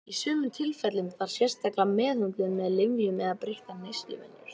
Í sumum tilfellum þarf sérstaka meðhöndlun með lyfjum eða breyttar neysluvenjur.